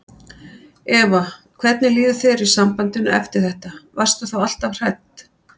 Eva: Hvernig líður þér í sambandinu eftir þetta, varstu þá alltaf hrædd?